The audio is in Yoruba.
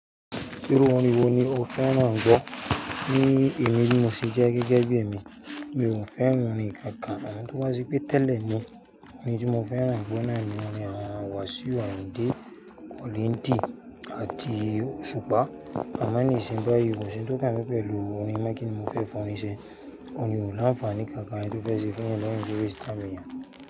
Irú orin wo ni o fẹ́ràn gbọ́, ní ẹ̀mí bí mo ṣe jẹ́ gẹ́gẹ́ bí èmi, mi ò fẹ́ràn orin kankan, àwọn tó bá ṣepe tẹ́lẹ̀ ni, orin tí mo fẹ́ràn gbọ́ nọni orin àwọn Wasiu Ayinde, collington àti oshupa. Àmọ́ nìsìn bá yí, kò sí oun tó kan mi pẹ̀lú orin mọ́ kìní mo fẹ́ fi orin ṣe, orin ò láǹfààní kankan, tó fẹ́ ṣe fún yan náà ni tó rí star mi yan.